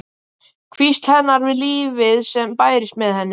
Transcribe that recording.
Hvísl hennar við lífið sem bærist með henni.